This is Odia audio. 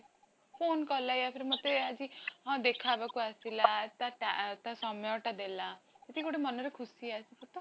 phone କଲା ମତେ ଆଜି ହଁ ଦେଖା ହବାକୁ ଆସିଲା ତା ତା ସମୟଟା ଦେଲା ସେତିକି ଗୋଟେ ମନରେ ଖୁସି ଆସିବ ତ